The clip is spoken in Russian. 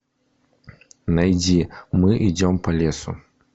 найди мы идем по лесу